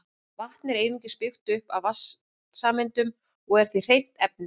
Vatn er einungis byggt upp af vatnssameindum og er því hreint efni.